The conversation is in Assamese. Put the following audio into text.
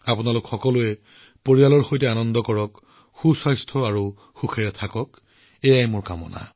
আপোনালোক সকলোৱে পৰিয়ালৰ সৈতে এই উৎসৱ উদযাপন কৰক সুস্থ আৰু সুখী হৈ থাকক এয়ে মোৰ কামনা